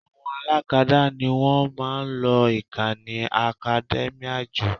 Àwọn alákadá ni wọ́n máa ń lo ìkànnì academia jù